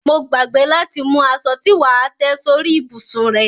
Mo gbàgbé láti mú aṣo tí wà á tẹ́ sórí ìbùsùn rẹ.